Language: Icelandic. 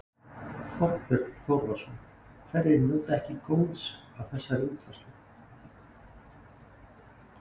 Þorbjörn Þórðarson: Hverjir njóta ekki góðs af þessari útfærslu?